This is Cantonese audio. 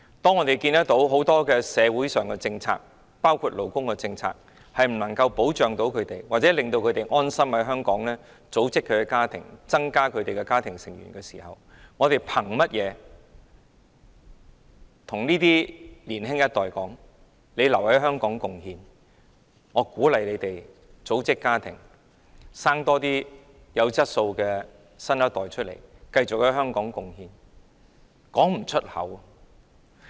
當我們看到社會上很多政策，包括勞工政策不能夠保障他們，不能令他們安心在香港組織家庭，增加家庭成員的時候，我們憑甚麼叫年輕一代留在香港貢獻，鼓勵他們組織家庭，增加生育，生產多些有質素的新一代，繼續在香港貢獻？